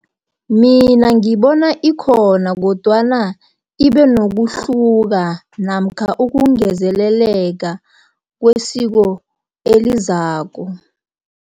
Mina ngibona ikhona, kodwana ibenokuhluka, namkha ukungezeleleka kwesiko elizako.